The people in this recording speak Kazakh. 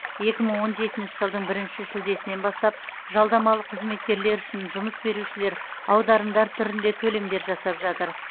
екі мың он жетінші жылдың бірінші шілдесінен бастап жалдамалы қызметкерлер үшін жұмыс берушілер аударымдар түрінде төлемдер жасап жатыр